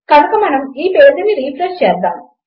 కనుక మనం ఈ పేజీని రిఫ్రెష్ చేద్దాము